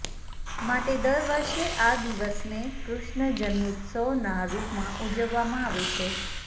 માટે દર વર્ષે આ દિવસને કૃષ્ણ જન્મોત્સવના રૂપમાં ઉજવવામાં આવે છે